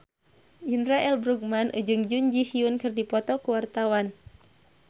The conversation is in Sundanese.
Indra L. Bruggman jeung Jun Ji Hyun keur dipoto ku wartawan